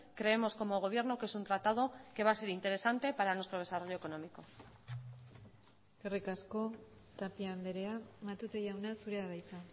creemos como gobierno que es un tratado que va a ser interesante para nuestro desarrollo económico eskerrik asko tapia andrea matute jauna zurea da hitza